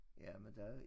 Jamen der er